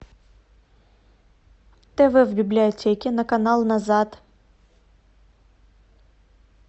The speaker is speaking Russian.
тв в библиотеке на канал назад